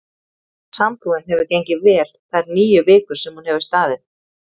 Sambúðin hefur gengið vel þær níu vikur sem hún hefur staðið.